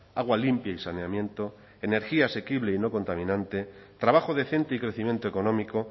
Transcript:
agua limpia y saneamiento energía asequible y no contaminante trabajo decente y crecimiento económico